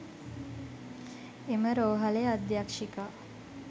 එම රෝහලේ අධ්‍යක්ෂිකා